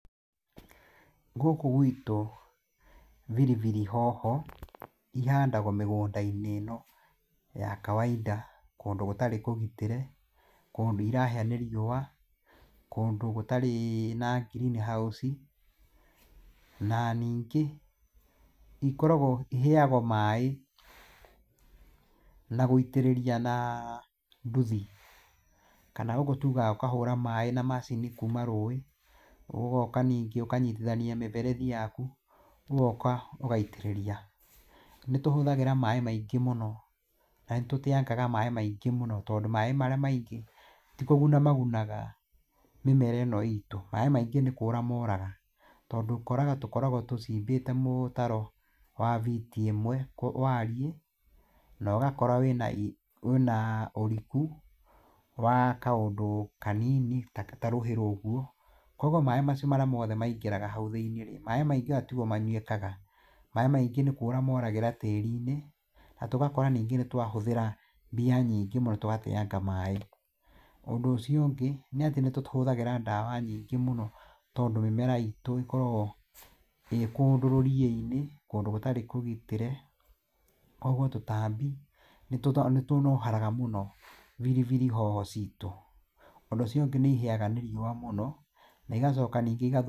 Gũkũ gwitũ, biribiri hoho cihandagwo mĩgũnda-inĩ ĩno ya kawainda, kũndũ gũtarĩ kũgitĩre, kũndũ irahĩa nĩ riũwa. Kũndũ gũtarĩ na green house. Na ningĩ iheyagwo maĩ nagũitĩrĩria na nduthi, kana gũkũ tugaga ũkahũra maĩ na macini kuuma rũi, ũgoka ningĩ ũkanyitithania mĩberethi yaku, ũgokaũgaitĩrĩria. Nĩtũhũthagĩra maĩ maingĩ, na nĩ tũteyanga maĩ maingĩ mũno. Tondũ maĩ marĩa maingĩ tikũguna magunaga mĩmera ĩno itũ. Maĩ maingĩ nĩkũra moraga, tondũ ũkoraga tũkoragwo tũcimbĩte mũtaro wa biti ĩmwe wariĩ, nogakora wĩna ũriku wa kaũndũ kanini tarũhi ũguo, koguo maĩ macio mothe maingĩra hau thĩini. Maĩ maingĩra timo manyuĩka. Maĩ maingĩ nĩ kũra moragĩra tĩri-inĩ, na tũgakora nĩ twahũthĩra mbia nyingĩ mũno, na tũgateyanga maĩ. Ũndũ ũcio ũngĩ, nĩatĩ nĩtũkĩhũthagĩra ndawa nyingĩ mũno, tondũ mĩmera itũ, ĩkoragwo ĩkũndũ rũriĩ-inĩ, kũndũ gũtarĩ kũgitĩre. Koguo tũtambi, nĩ tũnohoraga mũno biribiri hoho ciitũ. Ũndũ ũcio ũngĩ, nĩ ihĩyaga nĩ riũwa mũno, igacoka iga-